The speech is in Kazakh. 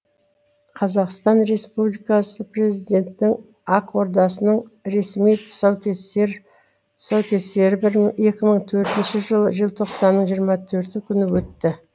қазақстан республикасы президентінің ақ ордасының ресми тұсаукесері екі мың төртінші жылы желтоқсанның жиырма төрті күні өтті